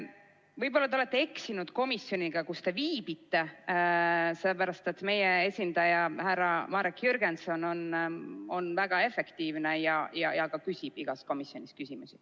Võib-olla te olete eksinud komisjoniga, kus te viibite, sellepärast et meie esindaja härra Marek Jürgenson on väga efektiivne ja ka küsib igas komisjonis küsimusi.